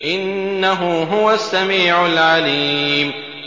إِنَّهُ هُوَ السَّمِيعُ الْعَلِيمُ